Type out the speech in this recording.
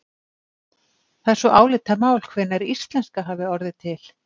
Það er svo álitamál hvenær íslenska hafi orðið til.